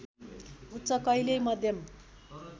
उच्च कहिल्यै मध्यम